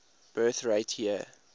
birth rate year